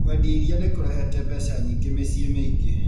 Kwendia iria nĩ kũrehete mbeca nyingĩ mĩciĩ mĩingĩ.